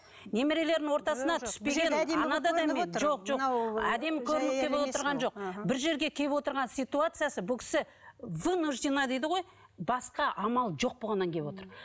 немерелерінің ортасына түспеген жоқ жоқ бұл жерге келіп отырған ситуациясы бұл кісі вынужденно дейді ғой басқа амал жоқ болғаннан кейін келіп отыр